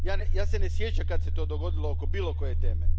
Ja se ne sjećam kad se to dogodilo oko bilo koje teme.